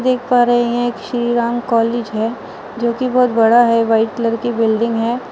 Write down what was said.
देख पा रहे हैं। श्री राम कॉलेज हैं। जो की बहुत बड़ा हैं। वाइट कलर की बिल्डिंग हैं।